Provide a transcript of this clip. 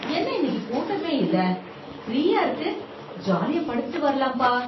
என்ன இன்னைக்கு கூட்டமே இல்ல. ஃப்ரீயா இருக்கு, ஜாலியா படுத்துட்டு வரலாம்பா.